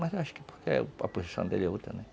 Mas acho que porque a posição dele é outra, né?